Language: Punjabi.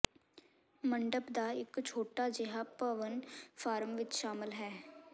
ਮੰਡਪ ਦਾ ਇੱਕ ਛੋਟਾ ਜਿਹਾ ਭਵਨ ਫਾਰਮ ਵਿੱਚ ਸ਼ਾਮਲ ਹਨ